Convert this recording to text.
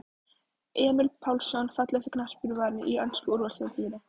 Emil Pálsson Fallegasti knattspyrnumaðurinn í ensku úrvalsdeildinni?